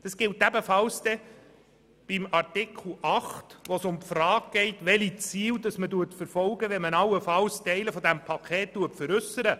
Dasselbe gilt für Artikel 8 bei den Zielen einer allfälligen Veräusserung von Teilen des Beteiligungspakets.